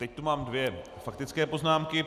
Teď tu mám dvě faktické poznámky.